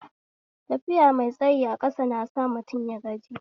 Tafiya mai tsayi a ƙasa nasa mutum yagaji